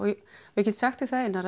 ég get sagt þér það Einar